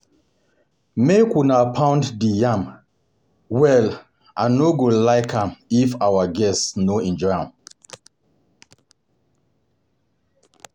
My My mama tell me say make I go buy um cow um for the wedding um